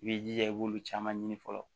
I b'i jija i b'olu caman ɲini fɔlɔ